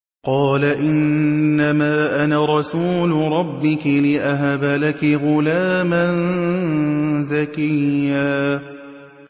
قَالَ إِنَّمَا أَنَا رَسُولُ رَبِّكِ لِأَهَبَ لَكِ غُلَامًا زَكِيًّا